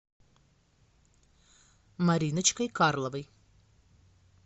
мариночкой карловой